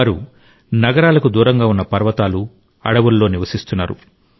వారు నగరాలకు దూరంగా ఉన్న పర్వతాలు అడవులలో నివసిస్తున్నారు